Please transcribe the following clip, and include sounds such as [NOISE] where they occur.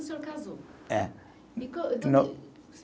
O senhor casou? É [UNINTELLIGIBLE]